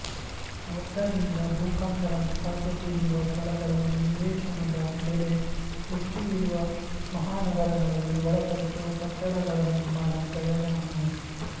ಆದ್ದರಿಂದ ಭೂಕಂಪನದ ಸಾಧ್ಯತೆಯಿರುವ ಸ್ಥಳಗಳಲ್ಲಿ ನಿವೇಶನದ ಬೆಲೆ ಹೆಚ್ಚು ಇರುವ ಮಹಾನಗರಗಳಲ್ಲಿ ಒಳಪಟ್ಟು ಕಟ್ಟಡಗಳ ನಿರ್ಮಾಣ ಪ್ರಯೋಜನಕಾರಿ